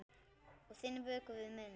Og þinn vökvi við minn.